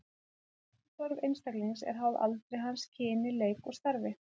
Orkuþörf einstaklings er háð aldri hans, kyni, leik og starfi.